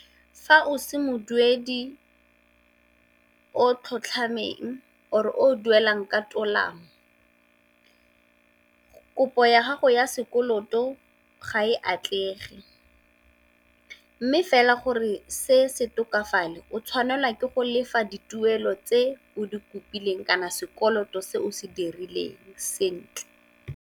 Fa o se moduedi o tlhotlhameng or-e o o duelang ka tolamo, kopo ya gago ya sekoloto ga e atlege. Mme fela gore se se tokafale o tshwanelwa ke go lefa dituelo tse o di kopileng kana sekoloto se o se dirileng sentle.